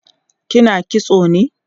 kina kitso ne?